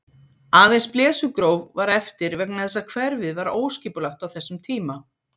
Aðeins Blesugróf var eftir vegna þess að hverfið var óskipulagt á þessum tíma.